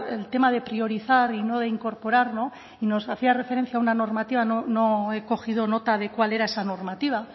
el tema de priorizar y no incorporar nos hacía referencia a una normativa no he cogido nota de cuál era esa normativa